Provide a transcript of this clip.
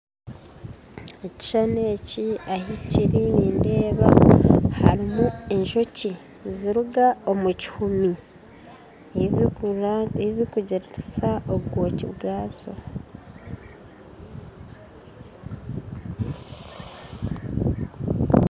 Ekishuushani eki ahikiri nindeeba harimu enjoki niziruga omukihumi eyi zikugiririsa obwooki bwazo